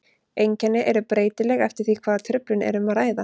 Einkenni eru breytileg eftir því hvaða truflun er um að ræða.